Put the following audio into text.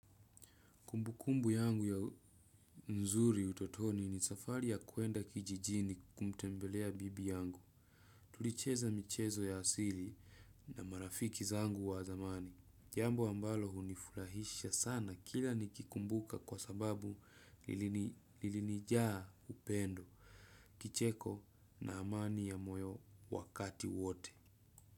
Kumbukumbu yangu ya nzuri utotoni ni safari ya kuenda kijijini kumtembelea bibi yangu. Tulicheza michezo ya asili na marafiki zangu wa zamani. Jambo ambalo hunifurahisha sana kila nikikumbuka kwa sababu lilini lilinijaa upendo. Kicheko na amani ya moyo wakati wote.